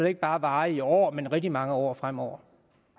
ikke bare varer i år men i rigtig mange år fremover